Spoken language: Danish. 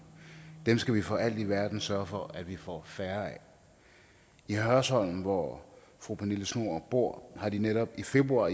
dem skal vi for alt i verden sørge for at vi får færre af i hørsholm hvor fru pernille schnoor bor har de netop i februar